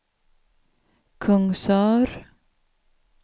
Kungsör